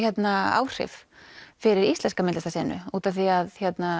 áhrif fyrir íslenska út af því að